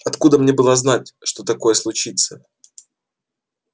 откуда мне было знать что такое случится